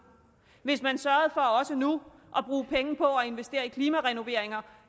hvis man sørgede for også nu at bruge penge på at investere i klimarenoveringer